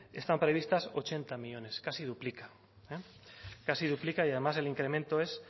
están previstas ochenta millónes casi duplica casi duplica y además el incremento es